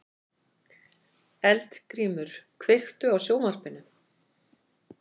Eldgrímur, kveiktu á sjónvarpinu.